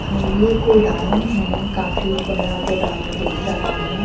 ये गोडाउन है काफी बड़ा गोडाउन दिख रहा है।